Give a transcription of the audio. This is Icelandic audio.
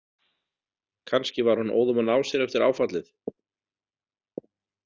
Kannski var hún óðum að ná sér eftir áfallið.